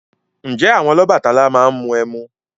Ǹjẹ́ àwọn Ọlọ́bàtálá máa ń mu ẹmu?